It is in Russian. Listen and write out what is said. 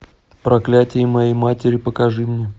проклятье моей матери покажи мне